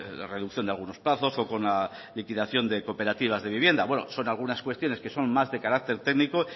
de reducción de algunos plazos o con la liquidación de cooperativas de vivienda bueno son algunas cuestiones que son más de carácter técnico